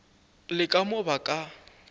le ka mo ba ka